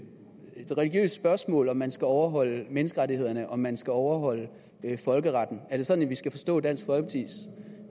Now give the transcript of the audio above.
religiøst spørgsmål om man skal overholde menneskerettighederne om man skal overholde folkeretten er det sådan vi skal forstå dansk folkepartis